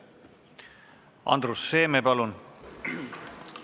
Andrus Seeme, palun!